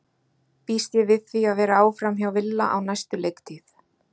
Býst ég við því að vera áfram hjá Villa á næstu leiktíð?